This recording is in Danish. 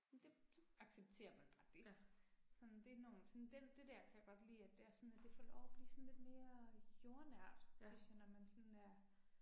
Men det det accepterer man bare det. Sådan det enormt sådan den det der kan jeg godt lide, at det er sådan, det får lov at blive sådan lidt mere jordnært, synes jeg, når man sådan er